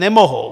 Nemohou.